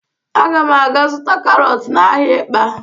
Aga m aga zụta karọt n'ahịa Ịkpa.